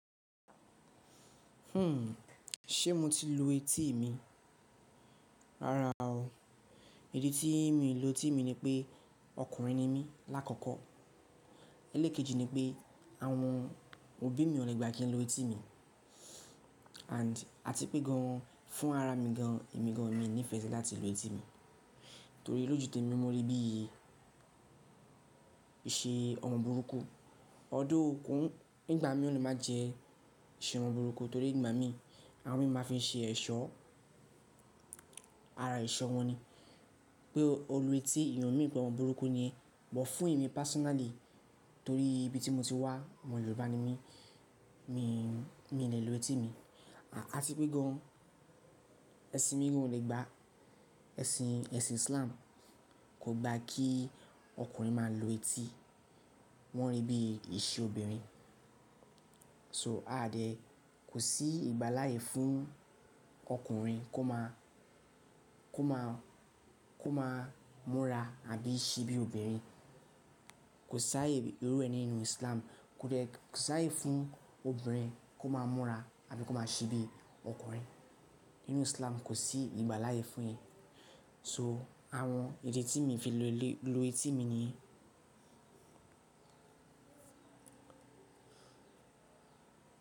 Hmm, ṣe mo ti lu etí mi? Rárá o, ìdí tí mi lu etí mi ni pé ọkùnrin ni mí lákọ̀kọ́. Eléèkejì ni pé àwọn òbí mi o lè gbà kí n lu etí mi and àti pé gan an fún ara mi gan an, èmi gan an, mi nífẹ̀ẹ́ si láti lu etí mi. Torí lójú tèmi mo rí i bí i ṣe ọmọ burúkú. Although nígbà mi o le máa jẹ́ iṣe ọmọ burúkú torí ìgbà mi, àwọn mi máa fi ṣe ẹ̀ṣọ́. Ara ẹ̀ṣọ́ wọn ni pé olú etí ìyen o mean pẹ̀ ọmọ burúkú ni, but fún èmi personally torí ibi tí mo ti wá, ọmọ Yorùbá ni mí, mi, mi lè lu etí mi. Àti pé gan an, ẹ̀sìn mi gan an o lè gbà, ẹ̀sìn, ẹ̀sìn Islam kò gba kí ọkùnrin máa lu etí, wọ́n rí i bí iṣe obìnrin. So àa dẹ̀, kò sí ìgbà láyè fún ọkùnrin kó máa múra àbí ṣe bí obìnrin. Kò sáàye ìrú ẹni nínú Islam, kò de sáàye fún obìnrin kó máa múra àbí kó máa ṣe bí ọkùnrin. Nínú Islam kò sí ìgbà láàyè fún ìyẹn. So àwọn ìdí tí mi fi le lu etí mi nìyẹn.